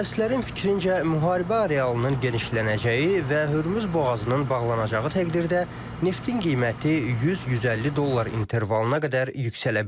Mütəxəssislərin fikrincə, müharibə arealının genişlənəcəyi və Hörmüz boğazının bağlanacağı təqdirdə neftin qiyməti 100-150 dollar intervalına qədər yüksələ bilər.